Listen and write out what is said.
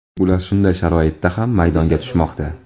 Ular shunday sharoitda ham maydonga tushmoqda.